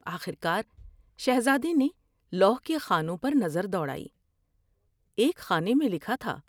آخر کار شہزادے نے لوح کے خانوں پر نظر دوڑائی ، ایک خانے میں لکھا تھا ۔